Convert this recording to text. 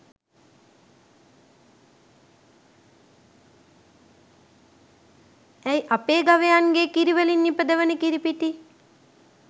ඇයි අපේ ගවයන්ගේ කිරිවලින් නිපදවන කිරිපිටි